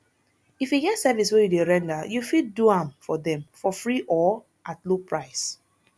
if e get service wey you dey render you fit do am for dem for free or at low price